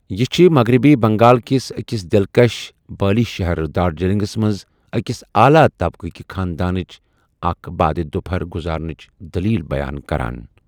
یہِ چھِ مغربی بنٛگال کِس أکِس دلکش بٲلی شَہر دارجلنگَس منٛز أکِس اعلیٰ طبقٕہٕ کِہِ خانٛدانٕچ اکھ بعد دُپہَر گزارنٕچ دٔلیٖل بیان کران۔